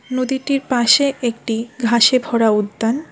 নদীটির পাশে একটি ঘাসে ভরা উদ্যান।